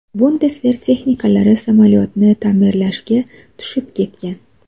Bundesver texniklari samolyotni ta’mirlashga tushib ketgan.